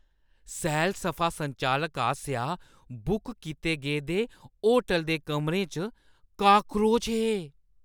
सैल-सफा संचालक आसेआ बुक कीते गेदे होटल दे कमरें च काक्रोच हे ।